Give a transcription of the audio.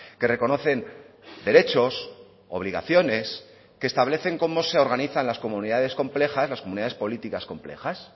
que reconocen derechos obligaciones que establecen como se organizan las comunidades complejas las comunidades políticas complejas